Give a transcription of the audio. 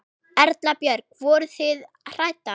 Erla Björg: Voruð þið hræddar?